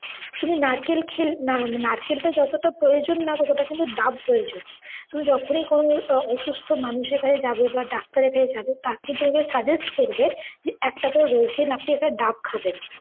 তুমি নারকেল খে~ না~ নারকেল টা যতটা প্রয়োজন না ততটা কিন্তু ডাব প্রয়োজন। তুমি যখনই কোনও অ~ অসুস্থ মানুষের কাছে যাবে বা ডাক্তারের কাছে যাবে তারা কিন্তু তোমাকে suggest করবে যে একটা করে রোজদিন আপনি একটা ডাব খাবেন।